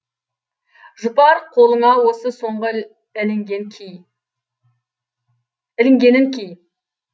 жұпар қолыңа осы соңғы ілінгенін ки